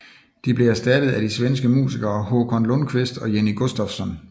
De blev erstattet af de svenske musikere Håkan Lundqvist og Jenny Gustafsson